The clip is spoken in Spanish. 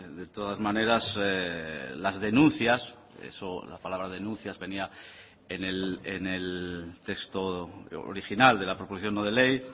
de todas maneras las denuncias eso la palabra denuncias venía en el texto original de la proposición no de ley